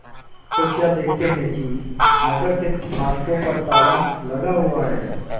तो क्या देखते हैं कि नगर के फाटकों पर ताला लगा हुआ है